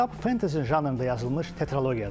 Kitab fantezi janrında yazılmış tetralogiyadır.